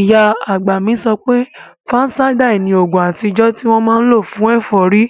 Ìyá àgbà mi sọ pé, fansáídà ni oògùn àtijọ́ tí wọ́n máa n lò fún ẹ̀fọ́rí